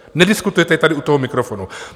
Nediskutujete tady u toho mikrofonu.